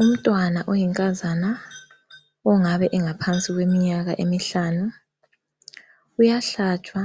Umntwana oyinkazana ongabe engaphansi kweminyaka emihlanu, uyahlatshwa